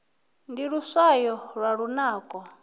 ndi luswayo lwa lunako